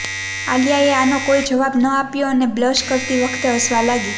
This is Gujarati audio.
આલિયાએ આનો કોઈ જવાબ ન આપ્યો અને બ્લશ કરતી વખતે હસવા લાગી